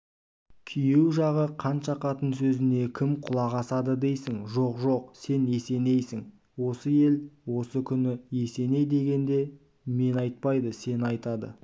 күйеу жағы қаншақатын сөзіне кім құлақ асады дейсің жоқ жоқ сен есенейсің осы ел осы күні есеней дегенде мені айтпайды сені айтады